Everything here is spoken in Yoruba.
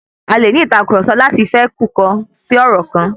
A lè ní ìtàkurọ̀sọ láti fẹkukọ̀ si ọ̀rọ̀ kan.